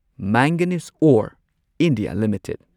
manganese ore India limited